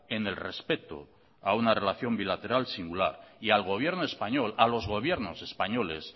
en el respeto a una relación bilateral singular y al gobierno español a los gobiernos españoles